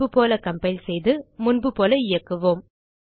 முன்புபோல கம்பைல் செய்து முன்புபோல இயக்குவோம்